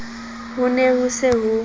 ho ne ho se ho